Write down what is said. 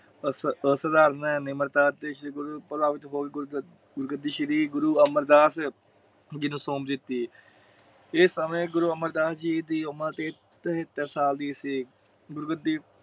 ਨਿਮਰਤਾ ਅਤੇ ਗੱਦੀ ਸ਼੍ਰੀ ਗੁਰੂ ਅਮਰਦਾਸ ਜੀ ਨੂੰ ਸੌਂਪ ਦਿਤੀ। ਇਹ ਸਮੇਂ ਗੁਰੂ ਅਮਰਦਾਸ ਜੀ ਦੀ ਉਮਰ ਤਿਹੇਤਰ ਸਾਲ ਦੀ ਸੀ। ਗੁਰੂ ਗੱਦੀ